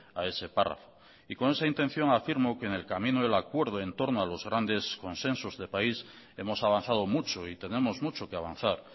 a ese párrafo y con esa intención afirmo que en el camino del acuerdo en torno a los grandes consensos de país hemos avanzado mucho y tenemos mucho que avanzar